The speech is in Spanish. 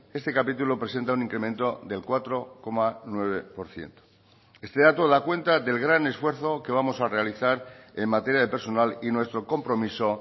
este capítulo presenta un incremento del cuatro coma nueve por ciento este dato da cuenta del gran esfuerzo que vamos a realizar en materia de personal y nuestro compromiso